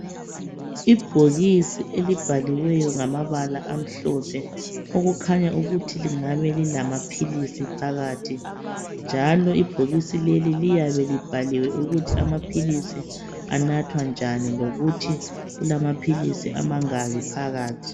Ibhokisi elibhaliweyo ngamabala amhlophe okukhanya ukuthi lingabe lilamaphilisi phakathi njalo ibhokisi leli liyabe libhaliwe ukuthi amaphilisi anathwa njani lokuthi kulamaphilisi amangaki phakathi.